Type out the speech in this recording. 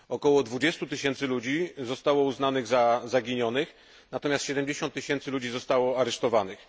Około 20 tysięcy ludzi zostało uznanych za zaginionych, natomiast 70 tysięcy ludzi zostało aresztowanych.